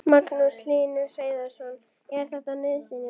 Magnús Hlynur Hreiðarsson: Er þetta nauðsynlegt?